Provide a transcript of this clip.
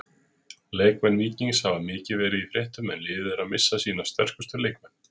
Leikmenn Víkings hafa mikið verið í fréttunum en liðið er að missa sína sterkustu leikmenn.